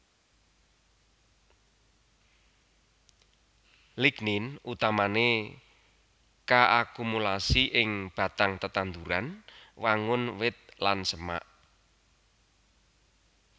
Lignin utamané kaakumulasi ing batang tetanduran wangun wit lan semak